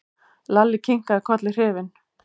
Lalli kinkaði kolli hrifinn.